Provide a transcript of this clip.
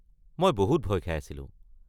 মই বহুত ভয় খাই আছিলো।